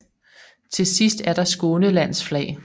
Til sidst er der Skånelands flag